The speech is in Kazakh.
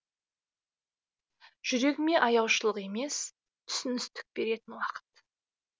жүрегіме аяушылық емес түсіністік беретін уақыт